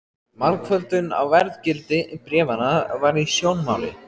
Margföldun á verðgildi bréfanna var í sjónmáli.